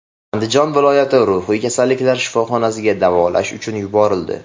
Andijon viloyati ruhiy kasalliklar shifoxonasiga davolanish uchun yuborildi.